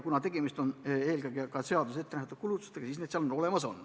Tegemist on eelkõige seaduses ettenähtud kulutustega ja see raha leitakse.